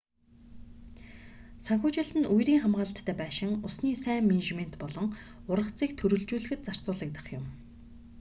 санхүүжилт нь үерийн хамгаалалттай байшин усны сайн менежмент болон ургацыг төрөлжүүлэхэд зарцуулагдах юм